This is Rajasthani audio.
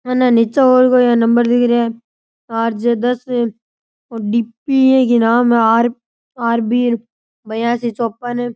अन्ने नीचे और कोया नंबर दिख रेया है आर जे दस और के नाम है आर बी बयासी चोपन।